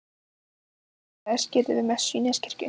Drengurinn þeirra er skírður við messu í Neskirkju.